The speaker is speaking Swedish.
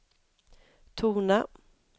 tona